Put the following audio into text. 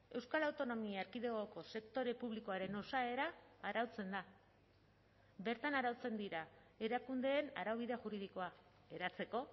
euskal autonomia erkidegoko sektore publikoaren osaera arautzen da bertan arautzen dira erakundeen araubide juridikoa eratzeko